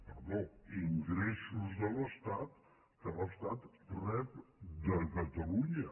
perdó ingressos de l’estat que l’estat rep de catalu·nya